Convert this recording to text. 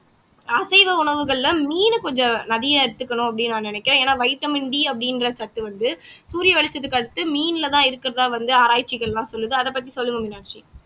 அசைவ உணவுகள்ல மீனை கொஞ்சம் நறியா எடுத்துக்கணும் அப்படீன்னு நான் நினைக்கிறேன் ஏன்னா வைட்டமின் D அப்படின்ற சத்து வந்து சூரிய வெளிச்சத்துக்கு அடுத்து மீன்ல தான் இருக்கிறதா வந்து ஆராய்ச்சிகள் எல்லாம் சொல்லுது அத பத்தி சொல்லுங்க மீனாட்சி